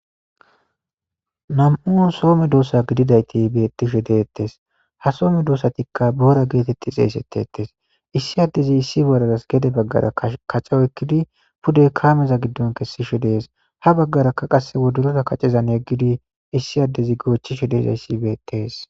Nam'un soo medoossa gididayti bettishshe dettees ha soo medoossatikka boora geetetti xeesettetes issi addezi issi boraras gede baggara kaca oykkidi pude kaameza giddon geliishshe dees ha baggarakka qasse wodorora kaccezan yeggidi issi addezi goochchishshe dizayssi beettes